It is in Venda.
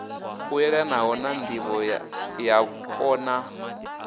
u yelanho na ndivhoyapo na